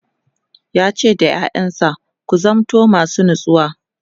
yace da ƴaƴansa "ku zamanto masu natsuwa!"